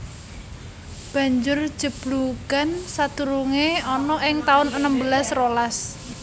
Banjur jeblugan sadurungé ana ing taun enem belas rolas